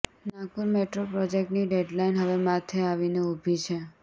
Nagpur metro પ્રોજેક્ટની deadline હવે માથે આવીને ઊભી છે